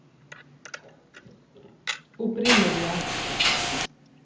opprinnelige